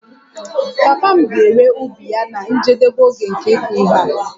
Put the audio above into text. Papa m ga-ere ubi ya na njedebe nke oge ịkụ ihe a